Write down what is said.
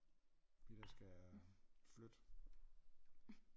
Fordi der skal jeg øh flytte